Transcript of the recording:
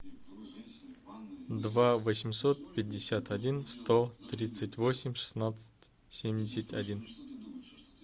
два восемьсот пятьдесят один сто тридцать восемь шестнадцать семьдесят один